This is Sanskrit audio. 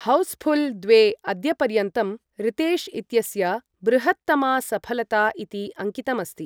हौस्फुल् द्वे अद्यपर्यन्तं रितेश् इत्यस्य बृहत्तमा सफलता इति अङ्कितम् अस्ति।